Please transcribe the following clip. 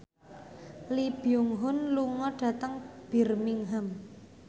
Lee Byung Hun lunga dhateng Birmingham